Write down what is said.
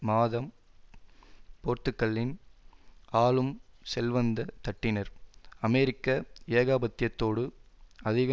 மாதம் போர்த்துக்கல்லின் ஆழும் செல்வந்த தட்டினர் அமெரிக்க ஏகாபத்தியத்தோடு அதிக